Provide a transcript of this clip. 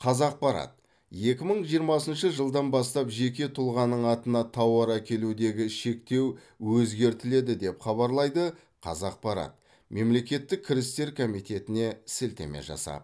қазақпарат екі мың жиырмасыншы жылдан бастап жеке тұлғаның атына тауар әкелудегі шектеу өзгертіледі деп хабарлайды қазақпарат мемлекеттік кірістер комитетіне сілтеме жасап